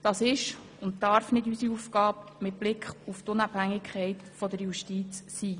Das ist nicht unsere Aufgabe, und sie darf es mit Blick auf die Unabhängigkeit der Justiz auch nicht sein.